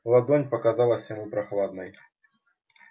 ладонь показалась ему прохладной